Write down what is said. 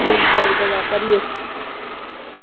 Amul Gold વાપર છી